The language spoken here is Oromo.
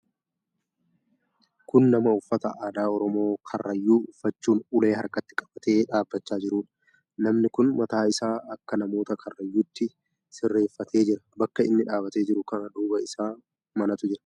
Kun nama uffata aadaa Oromoo Karrayyuu uffachuun ulee harkatti qabatee dhaabachaa jiruudha. Namni kun mataa isaa akka namoota Karrayyuutti sirreeffatee jira. Bakka inni dhaabatee jiru kana duuba isaa manatu jira.